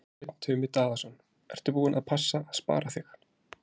Kolbeinn Tumi Daðason: Ertu búin að passa að spara þig?